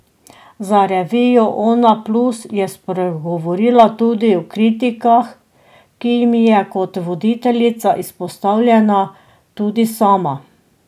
Za revijo Onaplus je spregovorila tudi o kritikah, ki jim je, kot voditeljica, izpostavljena tudi sama.